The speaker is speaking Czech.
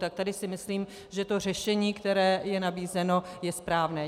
Tak tady si myslím, že to řešení, které je nabízeno, je správné.